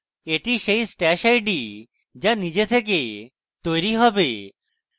এটি সেই stash id যা নিজে থেকে তৈরী হবে